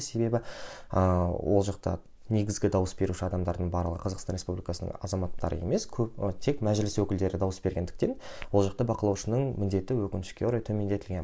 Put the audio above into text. себебі ыыы ол жақта негізгі дауыс беруші адамдардың барлығы қазақстан республикасының азаматтары емес көбі тек мәжіліс өкілдері дауыс бергендіктен ол жақта бақылаушының міндеті өкінішке орай төмендетілген